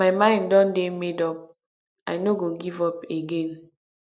my mind don dey made up i no go give up again